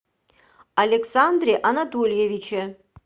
александре анатольевиче